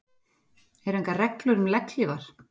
Eru engar reglur um legghlífar?